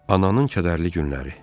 Ananın kədərli günləri.